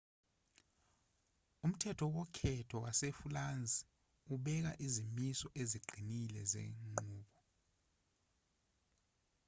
umthetho wokhetho wasefulansi ubeka izimiso eziqinile zenqubo